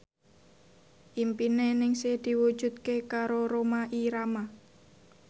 impine Ningsih diwujudke karo Rhoma Irama